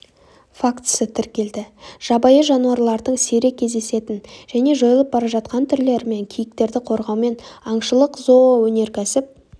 фактісі тіркелді жабайы жануарлардың сирек кездесетін және жойылып бара жатқан түрлері мен киіктерді қорғаумен аңшылықзооөнеркәсіп